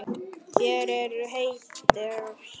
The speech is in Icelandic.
Þær eru heitar.